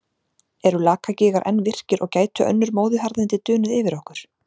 Eru Lakagígar enn virkir og gætu önnur móðuharðindi dunið yfir okkur?